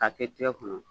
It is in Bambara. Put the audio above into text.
K'a kɛ tigɛ kɔnɔ